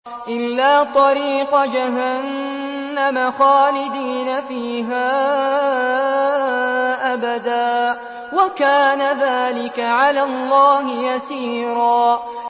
إِلَّا طَرِيقَ جَهَنَّمَ خَالِدِينَ فِيهَا أَبَدًا ۚ وَكَانَ ذَٰلِكَ عَلَى اللَّهِ يَسِيرًا